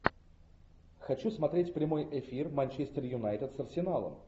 хочу смотреть прямой эфир манчестер юнайтед с арсеналом